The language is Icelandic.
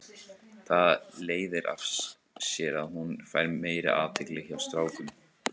Það leiðir af sér að hún fær meiri athygli hjá strákum.